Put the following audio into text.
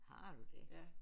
Har du det?